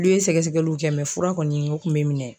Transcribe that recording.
Olu ye sɛgɛsɛgɛliw kɛ fura kɔni o kun be minɛ